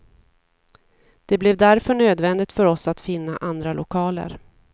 Det blev därför nödvändigt för oss att finna andra lokaler.